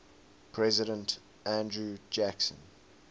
president andrew jackson